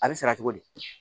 A bɛ sara cogo di